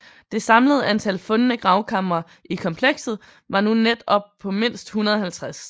Det samlede antal fundne gravkamre i komplekset var nu net op på mindst 150